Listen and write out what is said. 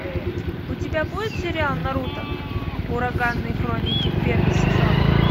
у тебя будет сериал наруто ураганные хроники первый сезон